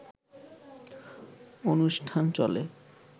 অনুষ্ঠান চলে